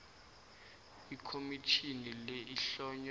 ikhomitjhini le ihlonywe